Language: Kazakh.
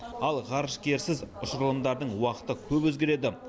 ал ғарышкерсіз ұшырылымдардың уақыты көп өзгереді